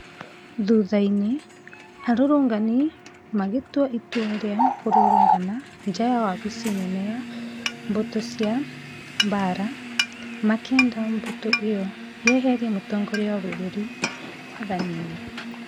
Thutha-inĩ, arũrũngani magĩtua itua rĩa kũrũgama nja ya wabici nene ya mbũtũ cia mbaara, makĩenda mbũtũ ĩyo ĩyeherie Mũtongoria wa bũrũri wathani-inĩ.